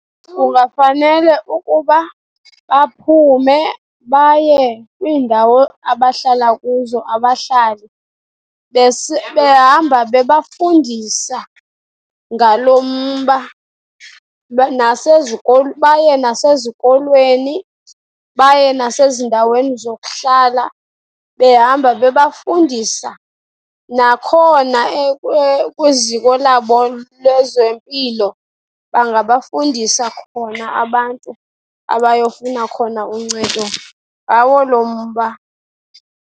Kungafanele ukuba baphume baye kwiindawo abahlala kuzo abahlali, behamba bebafundisa ngalo mba. Baye nasezikolweni, baye nasezindaweni zokuhlala behamba bebafundisa. Nakhona kwiziko labo lezempilo, bangabafundisa khona abantu abayofuna khona uncedo ngawo lo mba.